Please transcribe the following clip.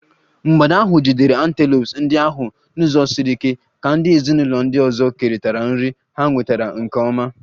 mgbada ahụ jidere antelopes ndị ahụ n'ụzọ siri ike, ka ndị ezinụlọ ndị ọzọ kerịta nri ha nwetara nke ọma.